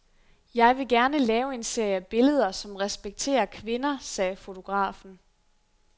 Jeg vil gerne lave en serie billeder, som respekterer kvinder, sagde fotografen.